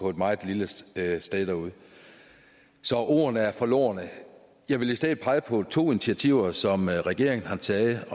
et meget lille sted så ordene er forlorne jeg vil i stedet pege på to initiativer som regeringen har taget